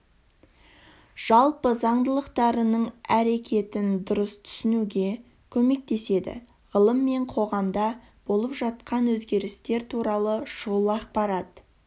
жалпы заңдылықтарының әрекетін дұрыс түсінуге көмектеседі ғылым мен қоғамда болып жатқан өзгерістер туралы шұғыл ақпарат